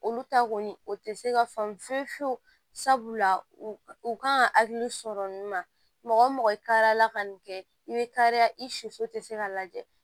Olu ta kɔni o te se ka faamu fiyewu fiyewu sabu u kan ka hakili sɔrɔ nin ma mɔgɔ karila ka nin kɛ i be kariya i si so te se ka lajɛ